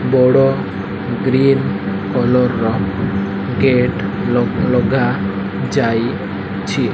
ବଡ଼ green colour ର gate ଲଗା ଲଗା ଯାଇଛି।